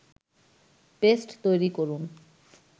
paste তৈরি করুন